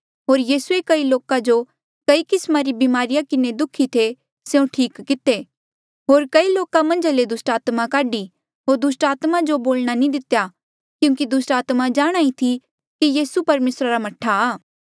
होर यीसूए कई लोक जो कई किस्मा री ब्मारिया किन्हें दुःखी थे स्यों ठीक किते होर कई लोका मन्झा ले दुस्टात्मा काढी होर दुस्टात्मा जो बोलणा नी दितेया क्यूंकि दुस्टात्मा जाणहां ईं थी कि यीसू परमेसरा रा मह्ठा आ